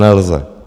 Nelze.